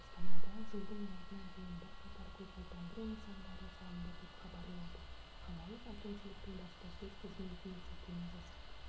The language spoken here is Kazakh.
астанада жылдың аяғына дейін бірқатар көгалдандыру нысандары салынады деп хабарлайды қалалық әкімшіліктің баспасөз қызметіне сілтеме жасап